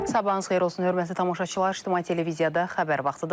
Sabahınız xeyir olsun hörmətli tamaşaçılar, İctimai televiziyada xəbər vaxtıdır.